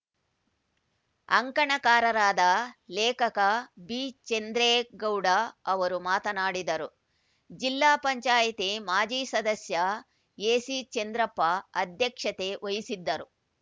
ಅಂಕಣಕಾರರಾದ ಲೇಖಕ ಬಿಚಂದ್ರೇಗೌಡ ಅವರು ಮಾತನಾಡಿದರು ಜಿಲ್ಲಾ ಪಂಚಾಯಿತಿ ಮಾಜಿ ಸದಸ್ಯ ಎಸಿಚಂದ್ರಪ್ಪ ಅಧ್ಯಕ್ಷತೆ ವಹಿಸಿದ್ದರು